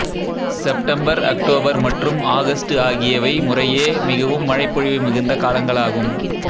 September October மற்றும் August ஆகியவை முறையே மிகவும் மழைப்பொழிவு மிகுந்த காலங்களாகும்